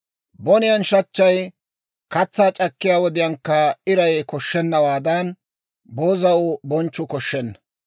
Boniyaan shachchay, katsaa c'akkiyaa wodiyaankka iray koshshennawaadan, boozaw bonchchuu koshshenna.